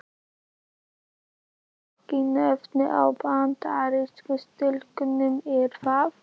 Þú veist ekki nöfnin á Bandarísku stúlkunum er það?